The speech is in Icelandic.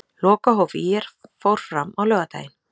Lokahóf ÍR fór fram á laugardaginn.